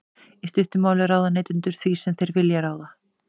í stuttu máli ráða neytendur því sem þeir vilja ráða